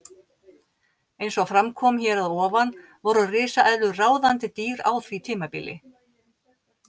Eins og fram kom hér að ofan voru risaeðlur ráðandi dýr á því tímabili.